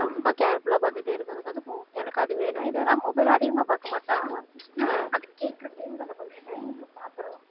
ரொம்ப careful ஆ பாத்துட்டே இருக்குறதுக்கும் அதுக்கும் எனக்கு அது வேணும் இது வேணும் ஆனா mobile அதிகமா பாக்க மாட்டான் ஆஹ் அது கேக்கற time க்கு அந்த கொஞ்ச time க்கு பார்த்திடணும்